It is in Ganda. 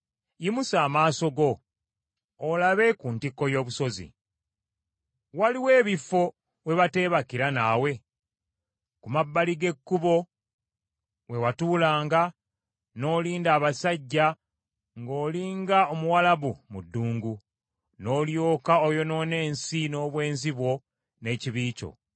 Yimusa amaaso go olabe ku ntikko y’obusozi. Waliwo ekifo we bateebakira naawe? Ku mabbali g’ekkubo we watulanga n’olinda abasajja ng’oli nga Omuwalabu mu ddungu; n’olyoka oyonoona ensi n’obwenzi bwo n’ekibi kyo.